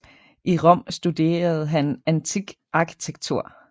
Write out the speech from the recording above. I Rom studerede han antik arkitektur